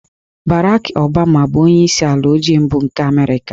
Barack Obama bụ onyeisi ala ojii mbụ nke Amerịka